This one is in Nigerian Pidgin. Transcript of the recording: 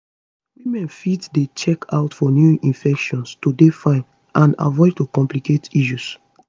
women fit dey check out for new infections to dey fine and avoid to complicate issues